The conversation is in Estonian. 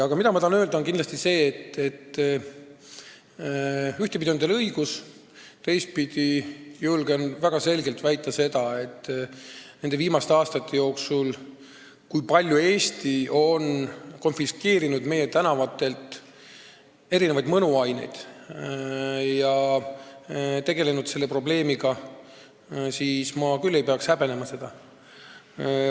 Aga ma tahan kindlasti öelda, et ühtepidi on teil õigus, teistpidi julgen ma väga selgelt väita, et ma küll ei peaks häbenema seda, kui palju nende viimaste aastate jooksul on Eestis tänavatelt konfiskeeritud erinevaid mõnuaineid ja kui palju on selle probleemiga tegeldud.